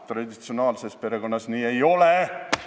Traditsionaalses perekonnas nii ei ole!